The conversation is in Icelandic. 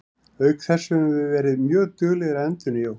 Auk þess höfum við verið mjög duglegir að endurnýja okkur.